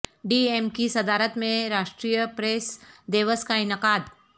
D M کی صدارت میں راشٹریہ پریس دیوس کا انعقاد